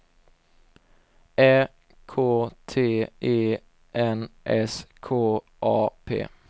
Ä K T E N S K A P